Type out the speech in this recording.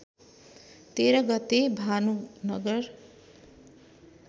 १३ गते भानुनगर